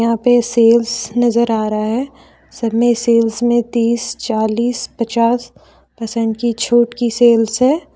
यहां पे सेल्स नजर आ रहा है सब में सेल्स में तीस चालीस पचास परसेंट की छूट की सेल्स है।